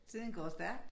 Tiden går stærkt